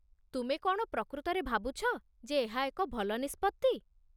ତୁମେ କ'ଣ ପ୍ରକୃତରେ ଭାବୁଛ ଯେ ଏହା ଏକ ଭଲ ନିଷ୍ପତ୍ତି?